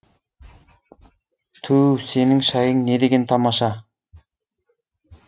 түу сенің шайың не деген тамаша